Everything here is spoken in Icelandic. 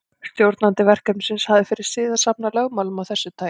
Stjórnandi verkefnisins hafði fyrir sið að safna lögmálum af þessu tagi.